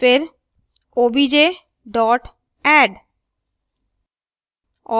फिरobj add